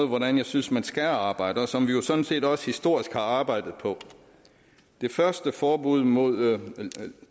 hvordan jeg synes man skal arbejde og som vi jo sådan set også historisk har arbejdet på det første forbud mod